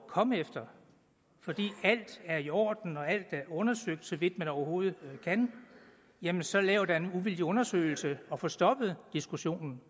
komme efter fordi alt er i orden og alt er undersøgt så vidt man overhovedet kan jamen så lav da en uvildig undersøgelse og få stoppet diskussionen